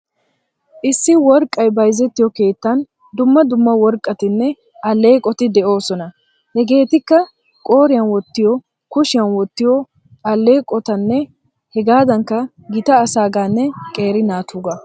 Issi woeqqay bayzettiyo keettan dumma dumma worqqatinne alleeqoti de'oosona. Hegeetikka qooriyan wottiyo, kushiyan wottiyo alleeqotanne hegaadankka gita asaagaanne qeeri naatuugaa.